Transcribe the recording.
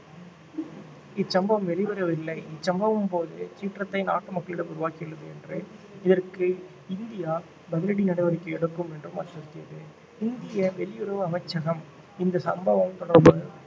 இச்சம்பவம் வெளிவரவில்லை இச்சம்பவம் போது சீற்றத்தை நாட்டு மக்களிடம் உருவாக்கியுள்ளது என்று இதற்கு இந்தியா பதிலடி நடவடிக்கை எடுக்கும் என்றும் அச்சுறுத்தியது இந்திய வெளியுறவு அமைச்சகம் இந்த சம்பவம் தொடர்பாக